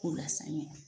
K'u lasaniya